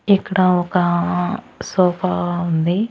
ఇక్కడా ఒకా సోఫా ఉంది.